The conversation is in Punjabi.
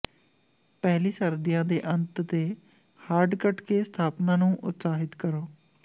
ਪਹਿਲੀ ਸਰਦੀਆਂ ਦੇ ਅੰਤ ਤੇ ਹਾਰਡ ਕੱਟ ਕੇ ਸਥਾਪਨਾ ਨੂੰ ਉਤਸ਼ਾਹਿਤ ਕਰੋ